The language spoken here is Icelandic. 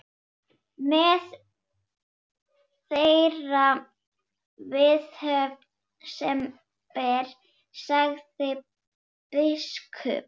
Með þeirri viðhöfn sem ber, sagði biskup.